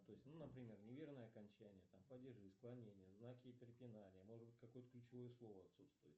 то есть ну например неверное окончание там падежи склонения знаки препинания может быть какое то ключевое слово отсутствует